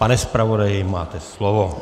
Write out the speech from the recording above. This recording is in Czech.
Pane zpravodaji, máte slovo.